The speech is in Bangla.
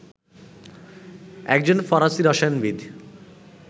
একজন ফরাসি রসায়নবিদ